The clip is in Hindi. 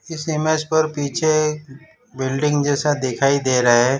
इस इमेज पर पीछे बिल्डिंग जैसा दिखाई दे रहा है।